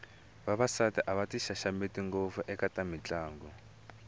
vavasati a va ti xaxameti ngopfu eka mitlangu